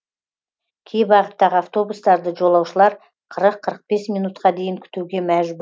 кей бағыттағы автобустарды жолаушылар қырық қырық бес минутқа дейін күтуге